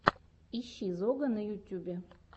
ищи зога на ютьюбе